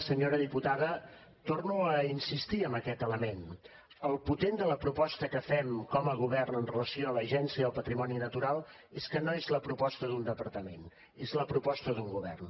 senyora diputada torno a insistir en aquest element el potent de la proposta que fem com a govern amb relació a l’agència del patrimoni natural és que no és la proposta d’un departament és la proposta d’un govern